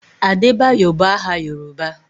Adebayo bụ aha Yoruba.